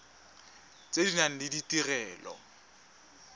tse di nang le ditirelo